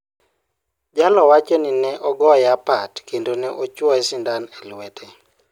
Jallow wacho ni ne ogoye apat kendo ne ochwoye sindan e lwete.